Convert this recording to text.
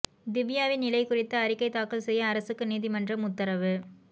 திவ்யாவின் நிலை குறித்து அறிக்கை தாக்கல் செய்ய அரசுக்கு நீதிமன்றம் உத்தரவு